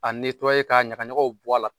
A ka ɲaka ɲakaw bɔ a la.